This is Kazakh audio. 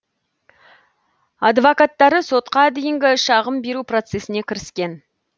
адвокаттары сотқа дейінгі шағым беру процесіне кіріскен